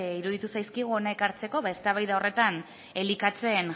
iruditu zaizkigu hona ekartzeko eztabaida horretan elikatzen